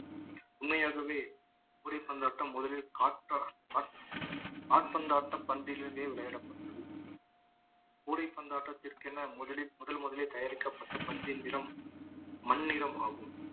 உண்மையாகவே கூடை பந்தாட்டம் முதலில் காட்ப~ கா~ கால் பந்தாட்ட பந்திலிருந்தே விளையாடப்பட்டது கூடைப்பந்தாட்டத்திற்கென முதலில் முதன் முதலில் தயாரிக்கப்பட்ட பந்தின் நிறம் மண் நிறம் ஆகும்